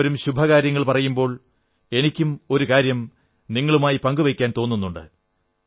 എല്ലാവരും ശുഭകാര്യങ്ങൾ പറയുമ്പോൾ എനിക്കും ഒരു കാര്യം നിങ്ങളുമായി പങ്കു വയ്ക്കാൻ തോന്നുണ്ട്